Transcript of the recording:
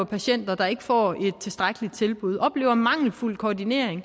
patienter der ikke får et tilstrækkeligt tilbud og oplever en mangelfuld koordinering